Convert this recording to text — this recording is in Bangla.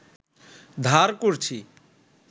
ধার করছি